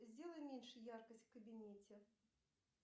сделай меньше яркость в кабинете